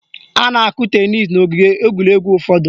A na-akụ tenis n' ogige egwuregwu ụfọdụ